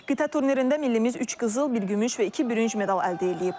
Qida turnirində millimiz üç qızıl, bir gümüş və iki bürünc medal əldə eləyib.